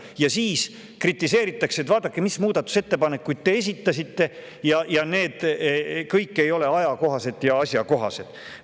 Ja siis kritiseeritakse, et vaadake, mis muudatusettepanekuid te esitasite, need kõik ei ole ajakohased ja asjakohased.